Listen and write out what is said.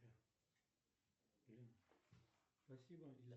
салют скажи мне пожалуйста есть ли у тебя бойфренд